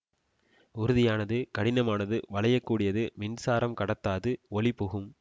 உறுதியானது கடினமானது வளையக் கூடியது மின்சாரம் கடத்தாது ஒளி புகும்